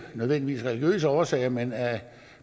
nødvendigvis af religiøse årsager men af